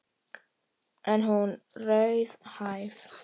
En er hún raunhæf?